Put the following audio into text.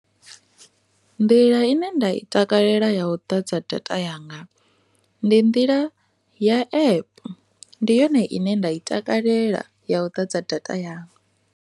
Nḓila ine nda i takalela ya u ḓadza data yanga ndi nḓila ya epe ndi yone ine nda i takalela ya u ḓadza data yanga.